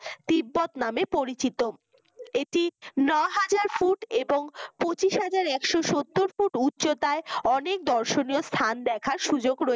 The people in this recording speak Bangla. তিব্বত নামে পরিচিত এটি ন’হাজার ফুট এবং পঁচিশহাজার একশত সত্তর ফুট উচ্চতায় অনেক দর্শনীয় স্থান দেখার সুযোগ রয়েছে।